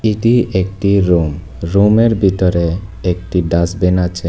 এটি একটি রুম রুমের বিতরে একটি ডাস্টবিন আছে।